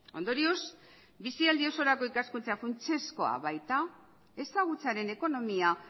ondorioz bizialdi osorako ikaskuntza funtsezkoa baita ezagutzaren ekonomia